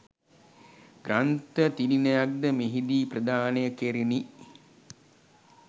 ග්‍රන්ථ තිළිණයක්ද මෙහිදී ප්‍රදානය කෙරිණි.